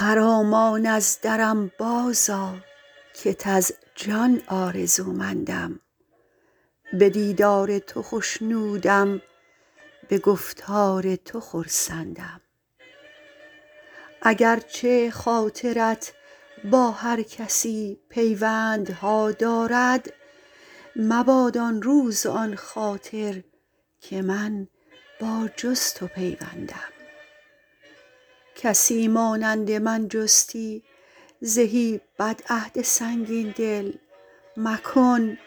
خرامان از درم بازآ کت از جان آرزومندم به دیدار تو خوشنودم به گفتار تو خرسندم اگر چه خاطرت با هر کسی پیوندها دارد مباد آن روز و آن خاطر که من با جز تو پیوندم کسی مانند من جستی زهی بدعهد سنگین دل مکن